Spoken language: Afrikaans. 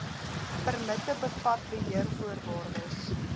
permitte bevat beheervoorwaardes